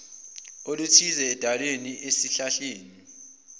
oluthize edwaleni esihlahleni